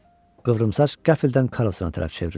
Qıvrımsaç qəflətən Karlsona tərəf çevrildi.